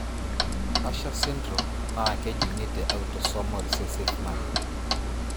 Usher syndrome na kejungi te autosomal recessive manner.